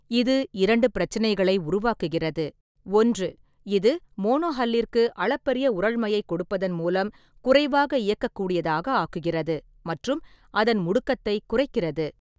இது இரண்டு பிரச்சினைகளை உருவாக்குகிறது. ஒன்று, இது மோனோஹல்லிற்கு அளப்பரிய உறழ்மையை கொடுப்பதன் மூலம் குறைவாக இயக்கக்கூடியதாக ஆக்குகிறது மற்றும் அதன் முடுக்கத்தை குறைக்கிறது.